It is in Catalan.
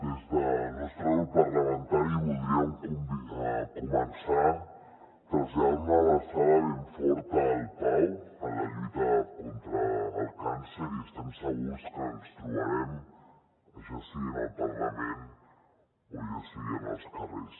des del nostre grup parlamentari voldríem començar traslladant una abraçada ben forta al pau en la lluita contra el càncer i estem segurs que ens trobarem ja sigui en el parlament o ja sigui en els carrers